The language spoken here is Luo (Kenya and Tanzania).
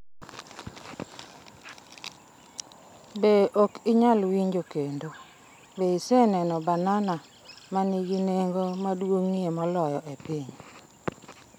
Be ok inyal winjo kendo, Be iseneno banana ma nigi nengo maduong’ie moloyo e piny?